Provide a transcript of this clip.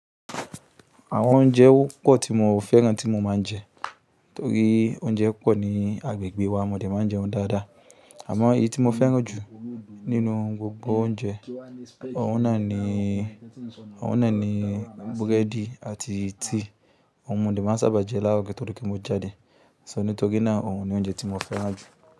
Àwọn oúnjẹ pọ̀ tí mo fẹ́ràn tí mo máa ń jẹ, torí oúnjẹ pọ̀ ní agbègbè wa mo dé máa ń jẹun dáadáa. Àmọ́ èyí tí mo fẹ́ràn jù nínú gbogbo oúnjẹ, òun náà ni, òun náà ni búrẹ́dì àti tíì, ohun mo dé máa ń sábà jẹ l'àárọ̀ kí ó tó di pé mo jáde. Nítorí náà òun ni oúnjẹ tí mo fẹ́ràn jù.